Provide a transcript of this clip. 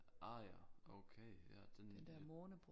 Ah ja okay ja den